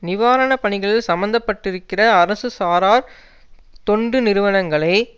நிவாரணப்பணிகளில் சம்மந்தப்பட்டிருக்கிற அரசு சாரா தொண்டு நிறுவனங்களை